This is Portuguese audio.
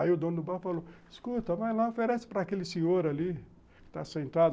Aí o dono do bar falou, escuta, vai lá, oferece para aquele senhor ali, que está sentado